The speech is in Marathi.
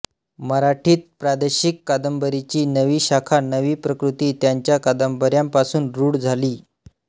मराठीत प्रादेशिक कादंबरीची नवी शाखा नवी प्रकृती त्यांच्या कादंबऱ्यांपासून रूढ झाली